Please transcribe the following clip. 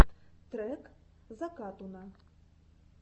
трек закатуна